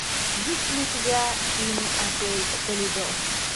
есть ли у тебя фильм отель толедо